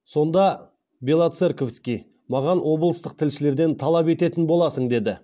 сонда белоцерковский маған облыстық тілшілерден талап ететін боласың деді